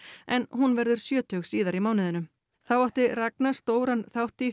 en hún verður sjötug síðar í mánuðinum þá átti Ragna stóran þátt í